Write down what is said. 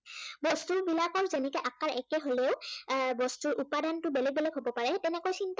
বস্তুবিলাকৰ যেনেকে আকাৰ একে হলেও, বস্তুৰ উপাদানটো বেলেগ বেলেগ হব পাৰে তেনেকৈ চিন্তাৰ